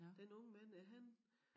Den unge mand er han